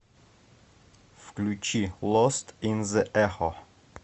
включи лост ин зе эхо